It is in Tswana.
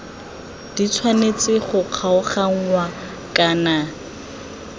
di tshwanetse go kgaoganngwa kana